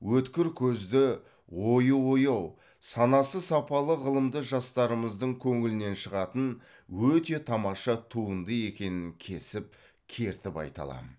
өткір көзді ойы ояу санасы сапалы ғылымды жастарымыздың көңілінен шығатын өте тамаша туынды екенін кесіп кертіп айта аламын